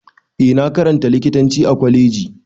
Eh na karanta likitanci a Kwaleji.